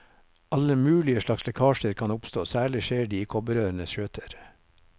Alle mulige slags lekkasjer kan oppstå, særlig skjer de i kobberrørenes skjøter.